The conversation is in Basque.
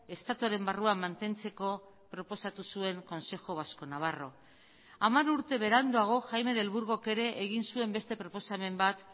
estatuaren barruan mantentzeko proposatu zuen consejo vasco navarro hamar urte beranduago jaime del burgok ere egin zuen beste proposamen bat